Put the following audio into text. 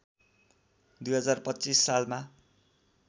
२०२५ सालमा